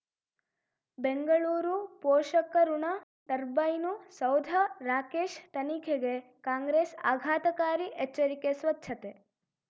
ಬೆಂಗಳೂರು ಪೋಷಕಋಣ ಟರ್ಬೈನು ಸೌಧ ರಾಕೇಶ್ ತನಿಖೆಗೆ ಕಾಂಗ್ರೆಸ್ ಆಘಾತಕಾರಿ ಎಚ್ಚರಿಕೆ ಸ್ವಚ್ಛತೆ